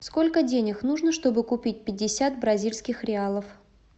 сколько денег нужно чтобы купить пятьдесят бразильских реалов